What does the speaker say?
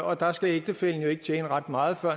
og der skal ægtefællen jo ikke tjene ret meget før